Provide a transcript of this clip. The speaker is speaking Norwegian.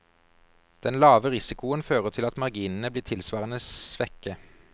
Den lave risikoen fører til at marginene blir tilsvarende svekke.